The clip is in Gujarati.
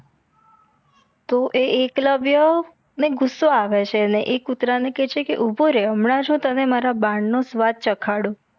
તો એ એકલવ્ય ને ગુસ્સો આવે છે ને એ કુતરા ને કે છે કે ઊભો રે હમણાંજ હું તને મારા બાણ નો સ્વાદ ચખાડુ